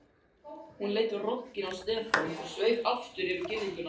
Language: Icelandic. Hann leit rogginn á Stefán og sveif aftur yfir girðinguna.